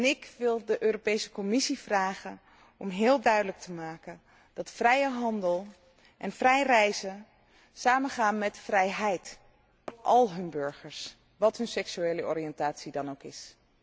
Ik wil de Commissie vragen om heel duidelijk te maken dat vrije handel en vrij reizen samengaan met vrijheid voor al hun burgers, wat hun seksuele oriëntatie dan ook is.